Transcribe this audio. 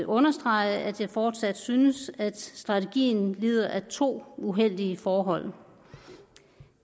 understrege at jeg fortsat synes at strategien lider af to uheldige forhold